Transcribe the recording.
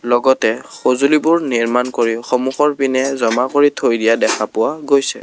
লগতে সজুঁলিবোৰ নিৰ্মান কৰি সন্মুখৰ পিনে জমা কৰি থৈ দিয়া দেখা পোৱা গৈছে।